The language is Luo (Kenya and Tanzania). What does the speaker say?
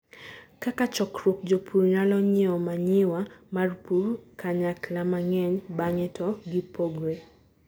kaka chokruok, jopur nyalo nyiewo manyiwa mar pur kanyakla mang'eny bang'e to gipogre